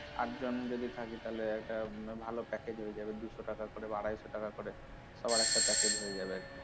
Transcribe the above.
আট জন যদি থাকি তাহলে একটা ভালো package হয়ে যাবে দুশো টাকা করে বা আড়াইশ টাকা করে সবার একটা package হয়ে যাবে আরকি।